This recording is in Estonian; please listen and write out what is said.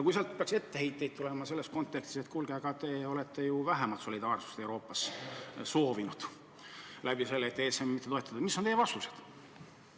Kui sealt peaks tulema etteheiteid selles kontekstis, et kuulge, te olete ju soovinud Euroopasse vähemat solidaarsust soovinud ESM-i mittetoetamisega, siis mis on teie vastused?